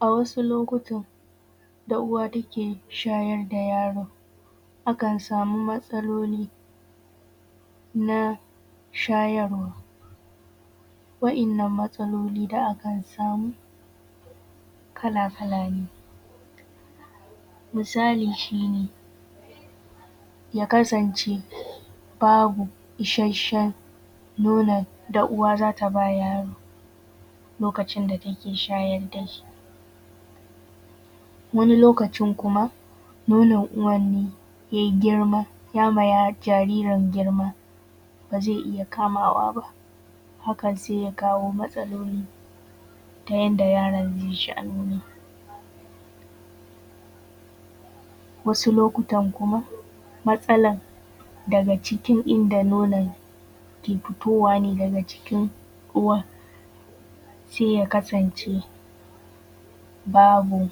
A wasu lokutan da uwa take shayar da yaro akan samu matsaloli .na shayarwa wayannan matsaloli da akan samu kala-kala ne misali shine ya kasance babu ishasshen nonon da uwa zata ba yaro lokacin da take shayar da shi wani lokacin kuma nonon uwan ne yai girma ya ma jaririn girma ba zai iya kamawa ba, hakan sai ya kawo matsaloli ta yanda yaron zai sha nonon. Wasu lokutan kuma matsalan daga cikin inda nonon ke fitowa ne daga cikin ruwan sai ya kasance babu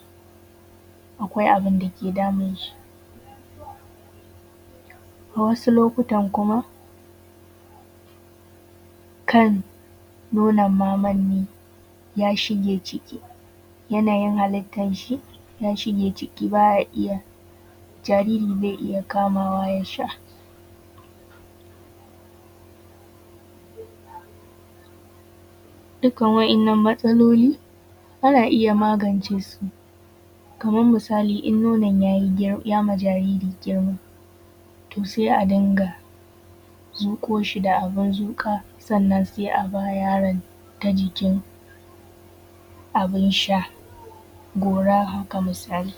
akwai abinda ke damun shi, wasu lokutan kuma kan nono maman ne ya shige ciki yanayin halittan shi ya shige ciki baya iya, jariri bai iya kamawa ya sha dukkan wayannan matsaloli ana iya magance su kaman misali in nonon ya ma jaririn girma to sai a dinga zuƙo shi da abin zuƙa sannan sai a ba yaron ta jikin abin sha gora haka misali.